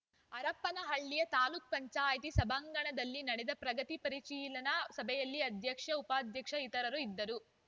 ಹರಪನಹಳ್ಳಿಯ ತಾಲೂಕ್ ಪಂಚಾಯತಿ ಸಭಾಂಗಣದಲ್ಲಿ ನಡೆದ ಪ್ರಗತಿ ಪರಿಶೀಲನಾ ಸಭೆಯಲ್ಲಿ ಅಧ್ಯಕ್ಷ ಉಪಾಧ್ಯಕ್ಷ ಇತರರು ಇದ್ದರು